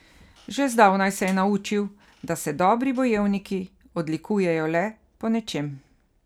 Že zdavnaj se je naučil, da se dobri bojevniki odlikujejo le po nečem.